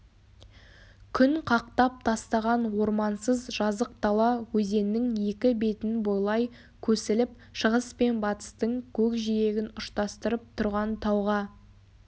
күн қақтап тастаған ормансыз жазық дала өзеннің екі бетін бойлай көсіліп шығыс пен батыстың көкжиегін ұштастырып тұрған тауға